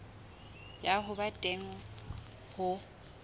ya ho ba teng ho